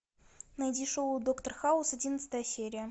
найди шоу доктор хаус одиннадцатая серия